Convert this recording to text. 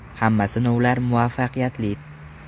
Hamma sinovlar muvaffaqiyatli.